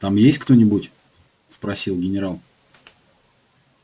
там есть кто-нибудь спросил генерал